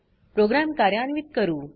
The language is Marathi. प्रोग्राम कार्यान्वित करू